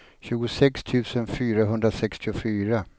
tjugosex tusen fyrahundrasextiofyra